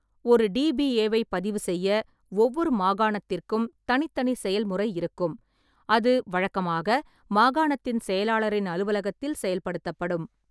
ஒரு டி.பி.ஏ.வைப் பதிவு செய்ய ஒவ்வொரு மாகாணத்திற்கும் தனித்தனி செயல்முறை இருக்கும், அது வழக்கமாக மாகாணத்தின் செயலாளரின் அலுவலகத்தில் செயல்படுத்தபடும்.